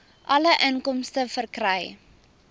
alle inkomste verkry